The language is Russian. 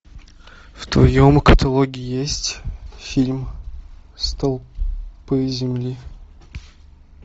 в твоем каталоге есть фильм столпы земли